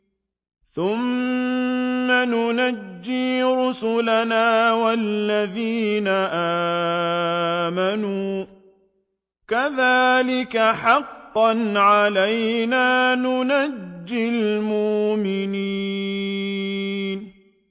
ثُمَّ نُنَجِّي رُسُلَنَا وَالَّذِينَ آمَنُوا ۚ كَذَٰلِكَ حَقًّا عَلَيْنَا نُنجِ الْمُؤْمِنِينَ